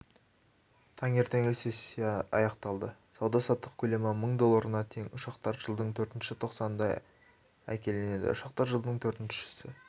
таңертеңгілік сессиясы аяқталды сауда-саттық көлемі мың долларына тең ұшақтар жылдың төртінші тоқсанында әкелінеді ұшақтар жылдың төртінші